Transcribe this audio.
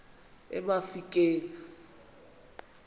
emafikeng